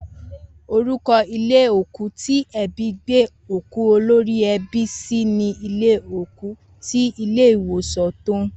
Orúko̩ ilé òkú tí e̩bí gbé òkú olórí e̩bí sí ni ilé òkú ti ilé ìwòsàn Tóún